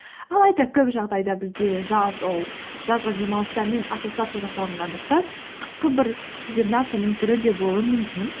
алайда көп жағдайда бізде жаз ол жазғы демалыстармен ассоциация жасалынғандықтан қысқы бір кибернацияның түрі де болуы мүмкін